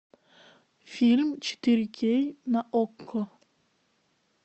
фильм четыре кей на окко